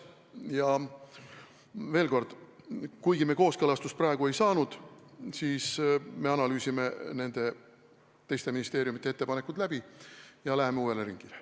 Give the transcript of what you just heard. Ja veel kord: praegu me jah kooskõlastust ei saanud, aga me analüüsime teiste ministeeriumide ettepanekud läbi ja läheme uuele ringile.